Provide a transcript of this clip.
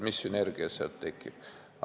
Mis sünergia sealt tekiks.